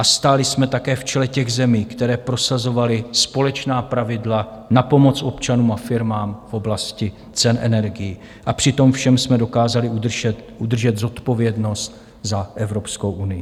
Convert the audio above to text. A stáli jsme také v čele těch zemí, které prosazovaly společná pravidla na pomoc občanům a firmám v oblasti cen energií, a při tom všem jsme dokázali udržet zodpovědnost za Evropskou unii.